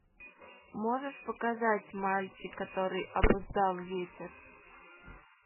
можешь показать мальчик который обуздал ветер